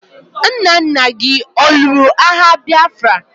Nna nna gi ọ lụrụ agha Bịafra?